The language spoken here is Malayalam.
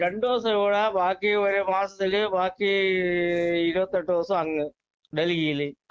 രണ്ടുദിവസം ഇവിടെ ബാക്കി ഒരുമാസത്തില് ബാക്കി ഇരുപത്തിയെട്ട് ദിവസം അങ്ങ് ഡല്ഹിയില്